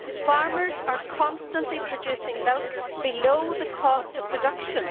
Farmers are constantly producing milk below the cost of production.